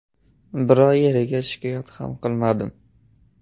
Biror yerga shikoyat ham qilmadim.